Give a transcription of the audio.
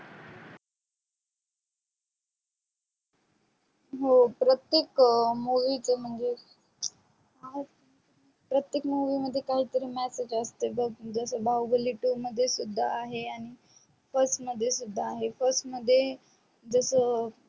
हो प्रतेक movie च म्हणजे प्रतेक movie मध्ये काही तरी messages असते बग जस बाहुबली two मध्ये सुद्धा आहे आहे आणि first सुद्धा आहे first जस